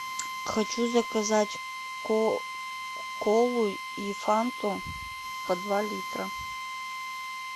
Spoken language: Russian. хочу заказать колу и фанту по два литра